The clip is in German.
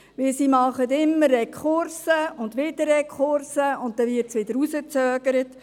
Denn sie machen immer Rekurse und wieder Rekurse, und es wird wieder hinausgezögert.